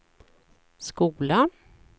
skola